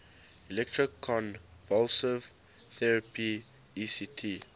electroconvulsive therapy ect